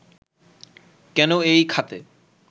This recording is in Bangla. কেন এই খাতে